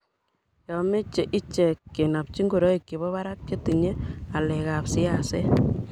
yomeche ichek kenopchi ngorik chebo barak chetinye ngalekab siaset